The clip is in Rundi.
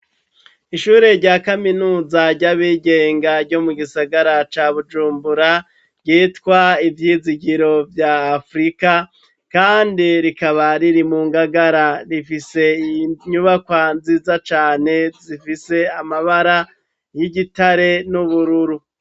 Ishure rya kaminuza ry'Abigenga ryo mu gisagara ca Bujumbura, ryitwa Ivyizigiro vya Afrika, kandi rikaba riri mu ngagara rifise inyubakwa nziza cane, zifise amabara y'igitare, n'Ubururu.